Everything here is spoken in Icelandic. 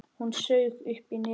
Hún saug upp í nefið.